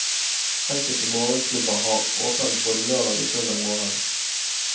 Enkelte morgenklubber har åpent både lørdag og søndag morgen.